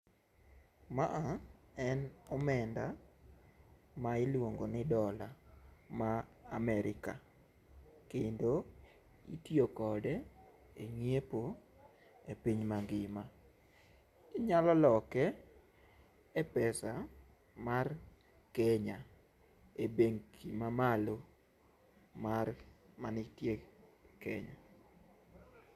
Maa en omenda ma iluongo ni dola ma Amerika kendo itiyo kode e nyiepo e piny mangima, Inyalo loke e pesa mar Kenya e bengi mamalo mar ,manitie Kenya